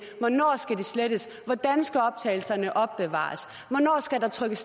hvornår skal de slettes hvordan skal optagelserne opbevares hvornår skal der trykkes